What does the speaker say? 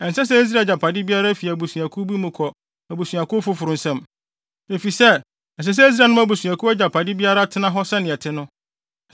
Ɛnsɛ sɛ Israel agyapade biara fi abusuakuw bi mu kɔ abusuakuw foforo nsam, efisɛ ɛsɛ sɛ Israel agyanom abusuakuw biara agyapade tena hɔ sɛnea ɛte no.